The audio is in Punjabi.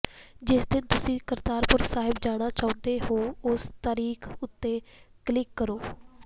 ਜਿਸ ਦਿਨ ਤੁਸੀਂ ਕਰਤਾਰਪੁਰ ਸਾਹਿਬ ਜਾਣਾ ਚਾਹੁੰਦੇ ਹੋ ਉਸ ਤਾਰੀਖ਼ ਉੱਤੇ ਕਲਿੱਕ ਕਰੋ